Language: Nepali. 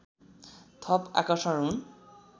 थप आकर्षण हुन्